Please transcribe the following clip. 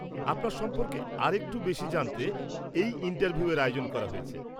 -আপনার সম্পর্কে আরেকটু বেশি জানতে এই ইনটারভিউয়ের আয়োজন করা হয়েছে।